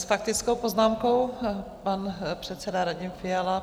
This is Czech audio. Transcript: S faktickou poznámkou pan předseda Radim Fiala.